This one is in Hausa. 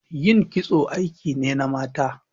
Ƴin kitso aiki ne na mata.